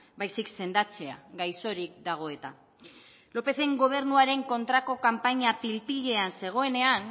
baizik sendatzea gaixorik dago eta lópezen gobernuaren kontrako kanpaina pil pilean zegoenean